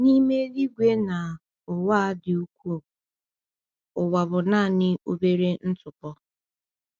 N’ime eluigwe na ụwa a dị ukwuu, ụwa bụ naanị obere ntụpọ.